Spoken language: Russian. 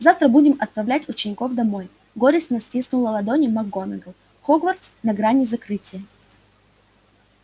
завтра будем отправлять учеников домой горестно стиснула ладони макгонагалл хогвартс на грани закрытия